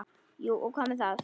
Jú og hvað með það!